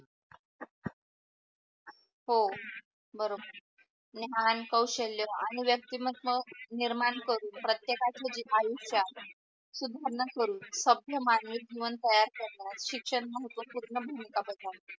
हो बरोबर ज्ञान आणि कौशल्य आणि व्यक्तिमहत्व निर्माण करू प्रतेकच्या जे आयुष्यात सुधारणा करू सभ्य मानवी जीवन तयार करतात शिक्षण महत्वपूर्ण भूमिका बजावते.